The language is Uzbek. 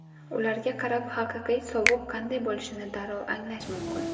Ularga qarab, haqiqiy sovuq qanday bo‘lishini darrov anglash mumkin.